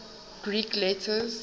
greek letters